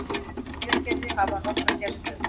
Hveragerði, hafa nokkra sérstöðu.